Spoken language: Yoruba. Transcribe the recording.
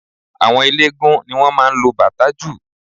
Àwọn eléégún ni wọ́n máa ń lo bàtá jù